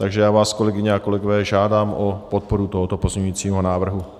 Takže já vás, kolegyně a kolegové, žádám o podporu tohoto pozměňujícího návrhu.